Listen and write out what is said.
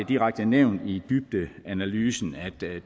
direkte nævnt i dybdeanalysen